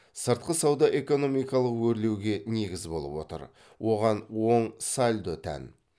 сыртқы сауда экономикалық өрлеуге негіз болып отыр оған оң сальдо тән